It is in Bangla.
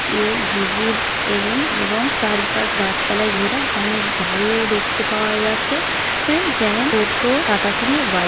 ইউ ভিজিট এগেইন এবং চারিপাশ গাছপালায় ঘেরা অনেক গাড়িও দেখতে পাওয়া যাচ্ছে যেমন টোটো টাটা সুমো বাইক ।